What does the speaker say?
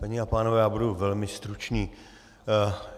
Paní a pánové, já budu velmi stručný.